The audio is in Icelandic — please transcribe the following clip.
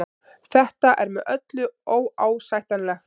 Þetta er með öllu óásættanlegt